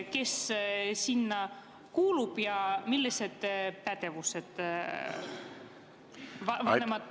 Kes sinna kuulub ja millised pädevused on vanematekogul?